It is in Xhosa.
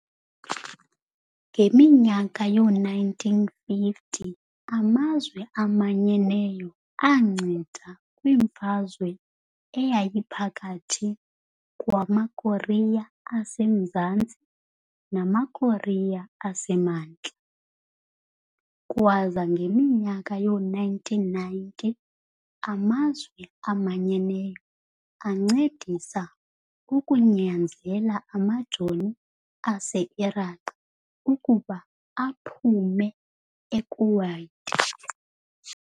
ngeminyaka yoo-1950 amazwe amanyeneyo aanceda kwmfazwe eyayiphakathi kwamaKorea aseMzantsi namaKorea asemantla, kwaza ngeminyaka yoo-1990 amazwe amanyeneyo ancedisa ukunyanzela amajoni ase-Iraqi ukuba aphume e-Kuwait.